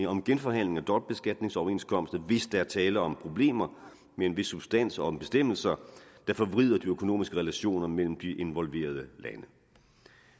om genforhandling af dobbeltbeskatningsoverenskomster hvis der er tale om problemer med en vis substans og om bestemmelser der forvrider de økonomiske relationer mellem de involverede lande